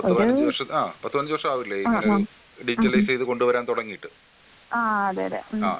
ഒരൂ ആ ആ ഉം ഉം ആ അതെ ഉം.